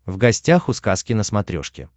в гостях у сказки на смотрешке